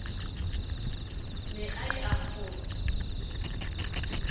ne a ye a kgonye